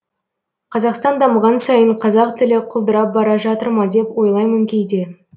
қазақстан дамыған сайын қазақ тілі құлдырап бара жатыр ма деп ойлаймын кейде